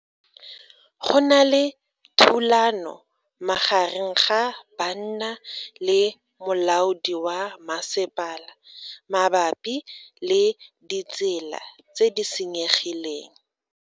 Go na le thulano magareng ga banna le molaodi wa masepala mabapi le ditsela tse di senyegileng.